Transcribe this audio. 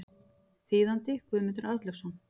Þýðandi Guðmundur Arnlaugsson.